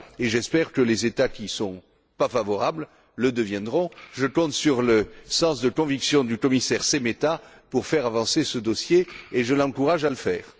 J'espère que les États qui n'y sont pas favorables le deviendront. Je compte sur le sens de conviction du commissaire Šemeta pour faire avancer ce dossier, et je l'encourage à le faire.